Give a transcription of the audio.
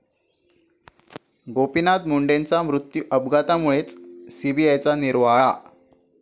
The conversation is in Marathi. गोपीनाथ मुंडेंचा मृत्यू अपघातामुळेच, सीबीआयचा निर्वाळा